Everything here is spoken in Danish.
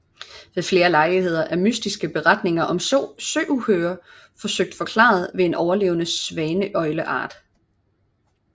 Ved flere lejligheder er mystiske beretninger om søuhyrer forsøgt forklaret ved en overlevende svaneøgleart